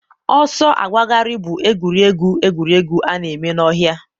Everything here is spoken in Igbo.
ọsọ agbagharị bụ egwuregwu egwuregwu a na-eme n'ọhịa.